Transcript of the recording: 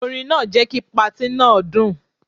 Orin náà jẹ́ kí patí náà dùn.